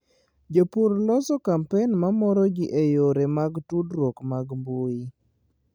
Jopur loso kampen mamoro ji e yore mag tudruok mag mbuyi.